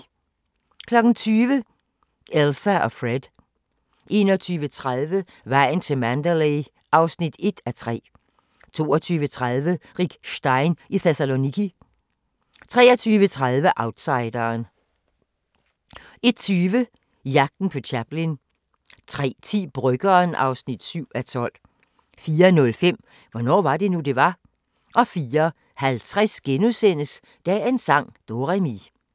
20:00: Elsa & Fred 21:30: Vejen til Mandalay (1:3) 22:30: Rick Stein i Thessaloniki 23:30: Outsideren 01:20: Jagten på Chaplin 03:10: Bryggeren (7:12) 04:05: Hvornår var det nu, det var? 04:50: Dagens sang: Do-re-mi *